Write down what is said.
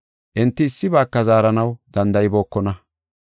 Enti issibaaka zaaranaw danda7ibookona.